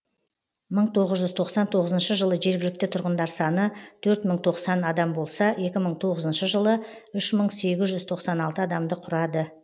мың тоғыз жүз тоқсан тоғызыншы жылы жергілікті тұрғындар саны төрт мың тоқсан адам болса екі мың тоғызыншы жылы үш мың сегіз жүз тоқсан алты адамды құрады